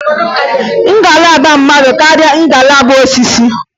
Ngalaba mmadụ karịrị ngalaba osisi.